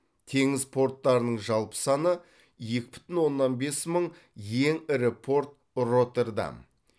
теңіз порттарының жалпы саны екі бүтін оннан бес мың ең ірі порт роттердам